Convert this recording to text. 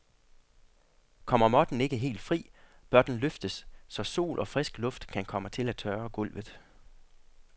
Kommer måtten ikke helt fri, bør den løftes, så sol og frisk luft kan komme til at tørre gulvet.